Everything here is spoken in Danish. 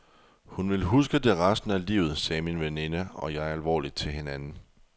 Hun vil huske det resten af livet, sagde min veninde og jeg alvorligt til hinanden.